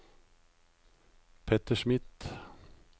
Petter Smith